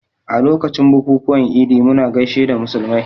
A lokacin bukukuwan Idi muna gaishe da musulmai